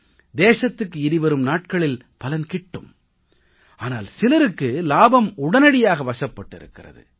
தேசத்துக்கு இனிவரும் நாட்களில் பலன் கிட்டும் ஆனால் சிலருக்கு லாபம் உடனடியாக வசப்பட்டிருக்கிறது